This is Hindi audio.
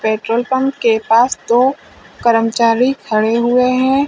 पेट्रोल पंप के पास दो कर्मचारी खड़े हुए हैं।